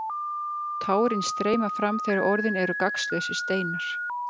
Tárin streyma fram þegar orðin eru gagnslausir steinar.